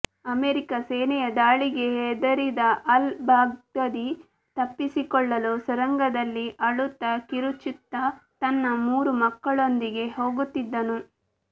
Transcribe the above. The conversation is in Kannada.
ಅಮೆರಿಕ ಸೇನೆಯ ದಾಳಿಗೆ ಹೆದರಿದ ಅಲ್ ಬಾಗ್ದಾದಿ ತಪ್ಪಿಸಿಕೊಳ್ಳಲು ಸುರಂಗದಲ್ಲಿ ಅಳುತ್ತಾ ಕಿರುಚುತ್ತಾ ತನ್ನ ಮೂರು ಮಕ್ಕಳೊಂದಿಗೆ ಹೋಗುತ್ತಿದ್ದನು